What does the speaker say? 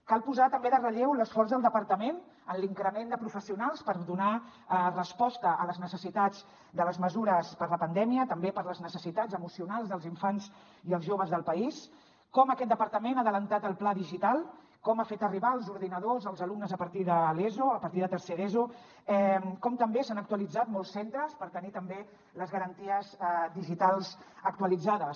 cal posar també de relleu l’esforç del departament en l’increment de professionals per donar resposta a les necessitats de les mesures per la pandèmia també per les necessitats emocionals dels infants i els joves del país com aquest departament ha avançat el pla digital com ha fet arribar els ordinadors als alumnes a partir de l’eso a partir de tercer d’eso com també s’han actualitzat molts centres per tenir també les garanties digitals actualitzades